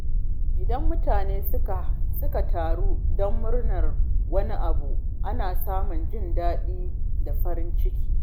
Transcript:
Idan mutane suka taru don murnar wani abu, ana samun jin daɗi da farin ciki.